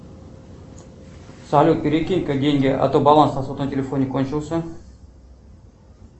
салют перекинь ка деньги а то баланс на сотовом телефоне кончился